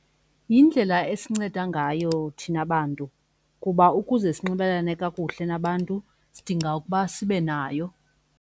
Yindlela esinceda ngayo thina bantu kuba ukuze sinxibelelane kakuhle nabantu sidinga ukuba sibe nayo.